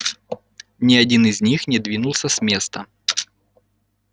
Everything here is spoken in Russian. ни один из них не двинулся с места